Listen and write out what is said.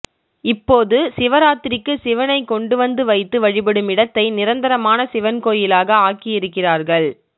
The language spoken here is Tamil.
இப்போது சிவராத்திரிக்கு சிவனைக்கொண்டுவந்து வைத்து வழிபடும் இடத்தை நிரந்தரமான சிவன்கோயிலாக ஆக்கியிருக்கிறார்கள்